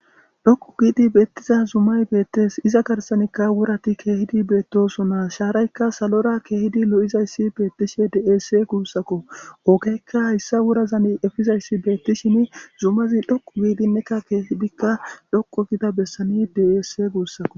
dhokku giidi beettiza zumay beettes iza garsanikka wurati keehidi beettosonaa shaaraykka salora keehidi lo7izayssi beettishe deesse guussakko oogeykka hayssa wurazani efizayssi beettishin zumazi dhoku giidinnekka keehidikka dhokku gida bessani deesse guussakko